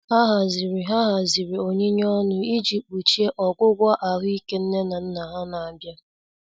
Ha haziri Ha haziri onyinye ọnụ iji kpuchie ọgwụgwọ ahuike nne na nna ha na-abịa.